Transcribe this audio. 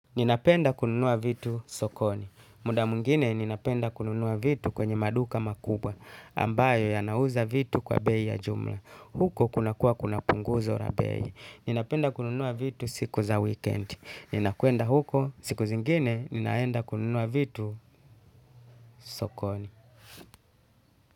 Ninapenda kununua vitu sokoni. Muda mwingine ninapenda kununua vitu kwenye maduka makubwa ambayo yanauza vitu kwa bei ya jumla. Huko kunakuwa kuna punguzo la bei. Ninapenda kununua vitu siku za weekend. Ninakwenda huko siku zingine ninaenda kununua vitu sokoni.